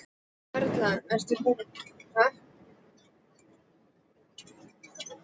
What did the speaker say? Erla: Ert þú búin að kaupa í jólamatinn?